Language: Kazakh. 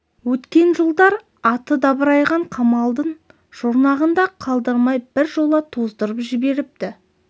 өткен жылдар аты дабырайған қамалдың жұрнағын да қалдырмай бір жола тоздырып жіберіпті